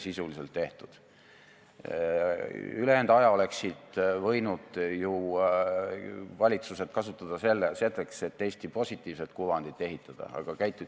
Ja kuna selliseid inimesi rohkem ei ole, siis see ongi tegelikult peamine probleem, miks Eesti firmadel ja Eesti pankadel on nii suured probleemid.